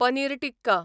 paneer tikka